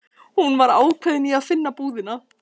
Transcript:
Hún var ákveðin í að finna búðina.